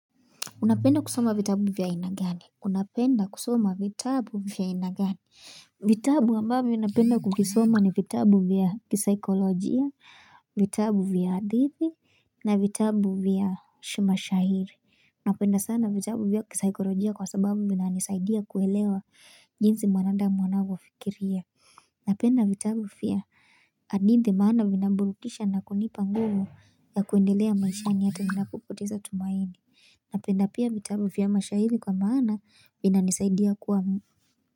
Unapenda kusoma vitabu vya aina gani? Unapenda kusoma vitabu vya inagani. Vitabu ambavyo napenda kukisoma ni vitabu vya kisaikolojia, vitabu vya hadithi, na vitabu vya mashairi. Napenda sana vitabu vya kisaikolojia kwa sababu vinanisaidia kuelewa jinsi mwanadamu anavyofikiria. Unapenda vitabu vya hadithi maana vinamburukisha na kunipa nguvu ya kuendelea maishani ya hata ninapopoteza tumaini. Napenda pia mitabu vya mashairi kwa maana vinanisaidia kuwamu.